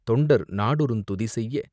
தொண்டர் நாடொறுந் துதிசெய்ய..